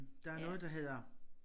Der noget der hedder